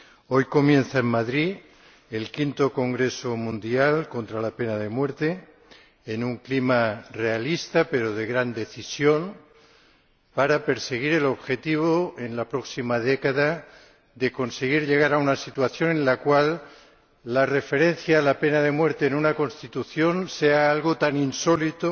Hoy comienza en Madrid el quinto Congreso Mundial contra la Pena de Muerte, en un clima realista pero de gran decisión, para perseguir el objetivo en la próxima década de conseguir llegar a una situación en la cual la referencia a la pena de muerte en una Constitución sea algo tan insólito,